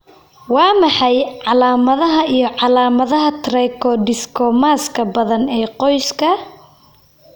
Waa maxay calaamadaha iyo calaamadaha Trichodiscomaska badan ee qoyska?